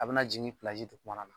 A be na jigin dugumana